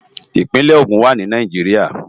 Ipinè Ogun wá ni Náijiriá